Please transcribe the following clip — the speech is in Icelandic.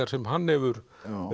sem hann hefur